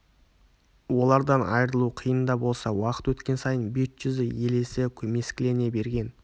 олардан айырылу қиын да болса уақыт өткен сайын бет-жүзі елесі көмескілене берген